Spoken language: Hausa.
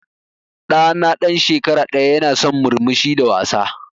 Ɗa na ɗan shekara ɗaya ya na son murmushi da wasa.